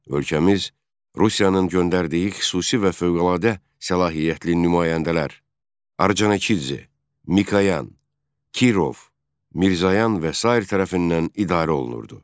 Ölkəmiz Rusiyanın göndərdiyi xüsusi və fövqəladə səlahiyyətli nümayəndələr, Orconikidze, Mikoyan, Kirov, Mirzoyan və sair tərəfindən idarə olunurdu.